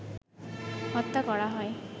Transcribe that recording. হত্যা করা হয়